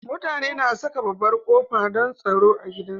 Mutane na Saka babbar qofa, don tsaro gidan su